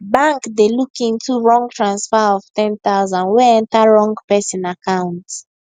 bank dey look into wrong transfer of ten thousand wey enter wrong person account